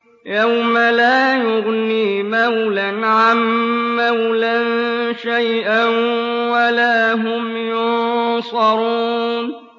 يَوْمَ لَا يُغْنِي مَوْلًى عَن مَّوْلًى شَيْئًا وَلَا هُمْ يُنصَرُونَ